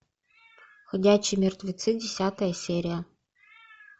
ходячие мертвецы десятая серия